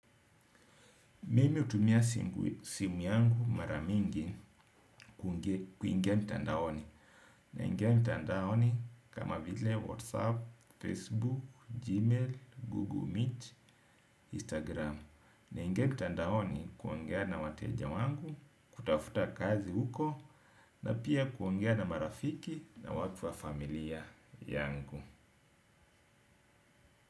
Mimi hutumia simu yangu mara mingi kuingia mtandaoni. Naingia mitandaoni kama vile WhatsApp, Facebook, Gmail, Google Meet, Instagram. Naingia mtandaoni kuingia na wateja wangu, kutafuta kazi huko na pia kuongea na marafiki na watu wa familia yangu.